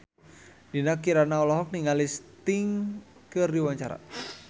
Dinda Kirana olohok ningali Sting keur diwawancara